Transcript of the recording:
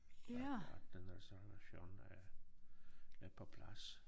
At at den reservation er er på plads